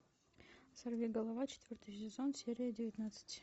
сорви голова четвертый сезон серия девятнадцать